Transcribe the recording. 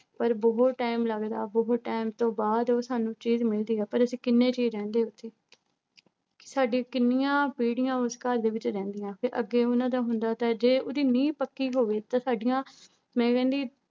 ਪਰ ਬਹੁਤ time ਲੱਗਦਾ ਬਹੁਤ time ਤੋਂ ਬਾਅਦ ਉਹ ਸਾਨੂੰ ਚੀਜ਼ ਮਿਲਦੀ ਹੈ ਪਰ ਅਸੀਂ ਕਿੰਨੇ ਜੀਅ ਰਹਿੰਦੇ ਉੱਥੇ ਸਾਡੀ ਕਿੰਨੀਆਂ ਪੀੜ੍ਹੀਆਂ ਉਸ ਘਰ ਦੇ ਵਿੱਚ ਰਹਿੰਦੀਆਂ ਤੇ ਅੱਗੇ ਉਹਨਾਂ ਦਾ ਹੁੰਦਾ ਤਾਂ ਜੇ ਉਹਦੀ ਨੀਂਹ ਪੱਕੀ ਹੋਵੇ ਤਾਂ ਸਾਡੀਆਂ ਮੈਂ ਕਹਿੰਦੀ